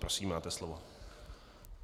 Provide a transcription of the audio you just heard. Prosím, máte slovo.